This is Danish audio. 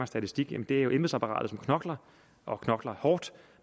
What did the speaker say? statistik det er embedsapparatet som knokler og knokler hårdt